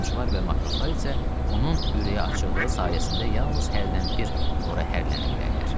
Harpunçular və matroslar isə onun ürəyi açıqlığı sayəsində yalnız hərdən bir ora hərlənə bilərdilər.